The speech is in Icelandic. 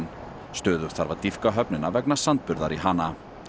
stöðugt þarf að dýpka höfnina vegna sandburðar í hana